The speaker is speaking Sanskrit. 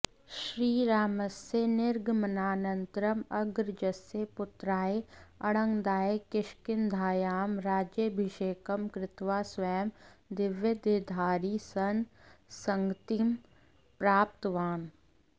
श्रीरामस्य निर्गमनानन्तरम् अग्रजस्य पुत्राय अङ्गदाय किष्किन्धायां राज्याभिषेकं कृत्वा स्वयं दिव्यदेहधारी सन् सद्गतिं प्राप्तवान्